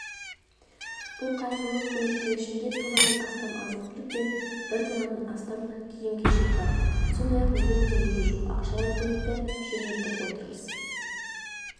бұл қайырымдылық көмектің ішінде тоннадан астамазық-түлік пен бір тоннадан астам киім-кешек бар сондай-ақ млн теңгеге жуық ақшалай көмекті жөнелтіп отырмыз